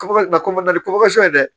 ni ye dɛ